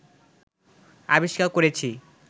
আবিষ্কার করেছি